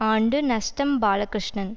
ஆண்டு நஷ்டம் பாலகிருஷ்ணன்